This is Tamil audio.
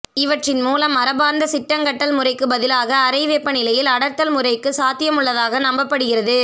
இவற்றின் மூலம் மரபார்ந்த சிட்டங்கட்டல் முறைக்குப் பதிலாக அறைவெப்பநிலையில் அடர்த்தல் முறைக்கு சாத்தியமுள்ளதாக நம்பப்படுகிறது